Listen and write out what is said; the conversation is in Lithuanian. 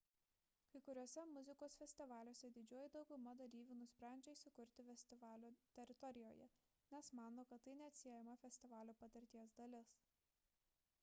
kai kuriuose muzikos festivaliuose didžioji dauguma dalyvių nusprendžia įsikurti festivalio teritorijoje nes mano kad tai neatsiejama festivalio patirties dalis